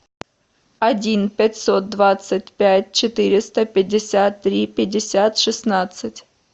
один пятьсот двадцать пять четыреста пятьдесят три пятьдесят шестнадцать